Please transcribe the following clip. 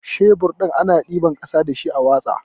Shebur ana ɗiban ƙasa dashi a watsa.